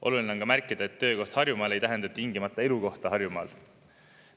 Oluline on märkida, et töökoht Harjumaal ei tähenda tingimata elukohta Harjumaal.